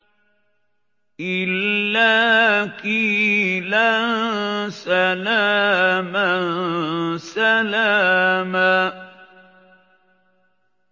إِلَّا قِيلًا سَلَامًا سَلَامًا